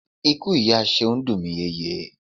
Ikú ìyá Ṣeun dùn mi.